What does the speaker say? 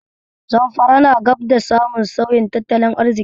Zamfara na gab da samun sauyin tattalin arziki.